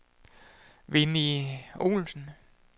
Winnie Olsen